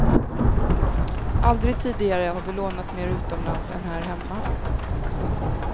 Aldrig tidigare har vi lånat mer utomlands än här hemma.